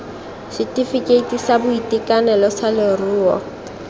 setefikeiti sa boitekanelo sa leruo